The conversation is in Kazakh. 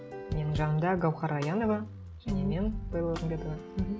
менің жанымда гауһар аянова және мен белла орынбетова мхм